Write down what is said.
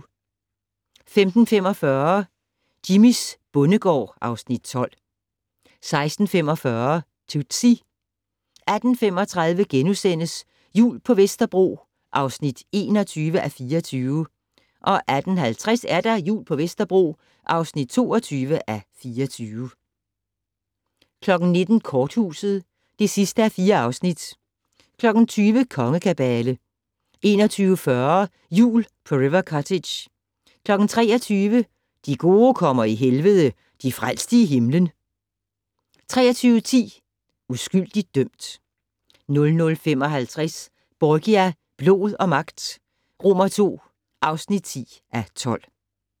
15:45: Jimmys bondegård (Afs. 12) 16:45: Tootsie 18:35: Jul på Vesterbro (21:24)* 18:50: Jul på Vesterbro (22:24) 19:00: Korthuset (4:4) 20:00: Kongekabale 21:40: Jul på River Cottage 23:00: De gode kommer i Helvede - de frelste i himlen! 23:10: Uskyldig dømt 00:55: Borgia - blod og magt II (10:12)